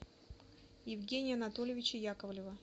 евгения анатольевича яковлева